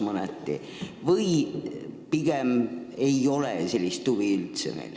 Või ei ole meil üldse sellist huvi?